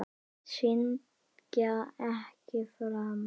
Syndga ekki framar.